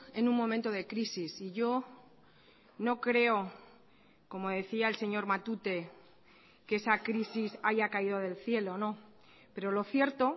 en un momento de crisis y yo no creo como decía el señor matute que esa crisis haya caído del cielo no pero lo cierto